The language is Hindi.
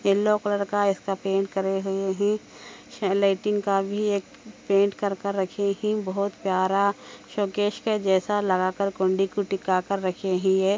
येलो कलर का इसके पेंट करे हुए की लाइटिंग का बी एक पेंटिंग कर कर लगी ही बहुत प्यारा शोकेस के जैस लगा कर >--